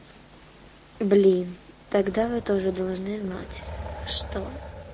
блин тогда вы тоже должны знать что